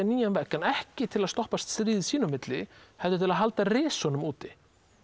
nýjan vegg en ekki til að stöðva stríðið sín á milli heldur til að halda risunum úti